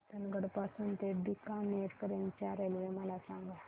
रतनगड पासून ते बीकानेर पर्यंत च्या रेल्वे मला सांगा